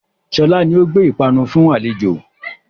Sọlá ni ó gbé ìpanu fún àlejò